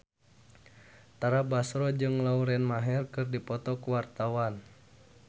Tara Basro jeung Lauren Maher keur dipoto ku wartawan